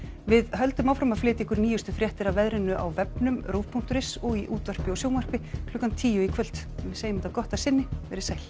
við höldum áfram að flytja ykkur nýjustu fréttir af veðrinu á vefnum punktur is og í útvarpi og sjónvarpi klukkan tíu í kvöld en við segjum þetta gott að sinni veriði sæl